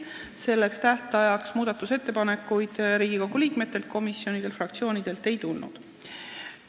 Selleks tähtajaks Riigikogu liikmetelt, komisjonidelt ega fraktsioonidelt muudatusettepanekuid ei tulnud.